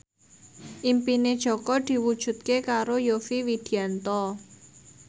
impine Jaka diwujudke karo Yovie Widianto